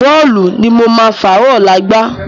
Bọ́ọ̀lù ni mo máa fàárọ̀ ọ̀la gbá